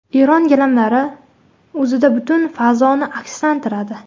Eron gilamlari o‘zida butun fazoni akslantiradi.